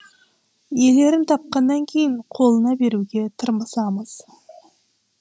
иелерін тапқаннан кейін қолына беруге тырмысамыз